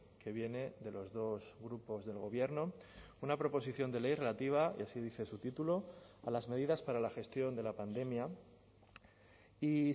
que viene de los dos grupos del gobierno una proposición de ley relativa y así dice su título a las medidas para la gestión de la pandemia y